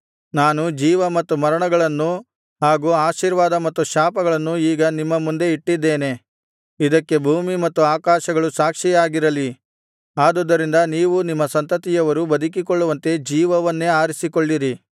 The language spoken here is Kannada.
ನಾನು ಜೀವ ಮತ್ತು ಮರಣಗಳನ್ನೂ ಹಾಗು ಆಶೀರ್ವಾದ ಮತ್ತು ಶಾಪಗಳನ್ನೂ ಈಗ ನಿಮ್ಮ ಮುಂದೆ ಇಟ್ಟಿದ್ದೇನೆ ಇದಕ್ಕೆ ಭೂಮಿ ಮತ್ತು ಆಕಾಶಗಳು ಸಾಕ್ಷಿಗಳಾಗಿರಲಿ ಆದುದರಿಂದ ನೀವೂ ನಿಮ್ಮ ಸಂತತಿಯವರೂ ಬದುಕಿಕೊಳ್ಳುವಂತೆ ಜೀವವನ್ನೇ ಆರಿಸಿಕೊಳ್ಳಿರಿ